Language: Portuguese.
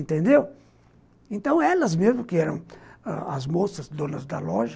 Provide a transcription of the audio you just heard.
Então, elas mesmas, que eram as moças, donas da loja,